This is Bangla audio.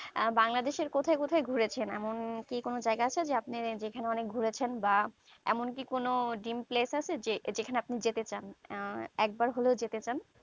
বাংলাদেশের কোথায় কোথায় ঘুরেছেন এমন কি কোনো জায়গা আছে আপনি যেখানে অনেক ঘুরেছেন বা এমন কি কোনো dream place আছে যেখানে আপনি যেতে চান আহ একবার হলেও যেতে চান